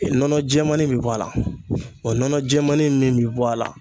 Nɔnɔ jɛmannin bɛ bɔ a la wa nɔnɔ jɛmannin min bɛ bɔ a la